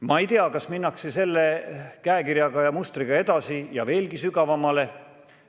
Ma ei tea, kas minnakse selle käekirjaga ja mustriga edasi ja veelgi sügavamale.